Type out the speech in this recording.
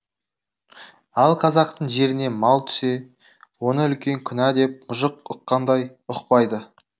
ал қазақтың жеріне мал түсе оны үлкен кінә деп мұжық ұққандай ұқпайды